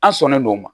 An sɔnnen do o ma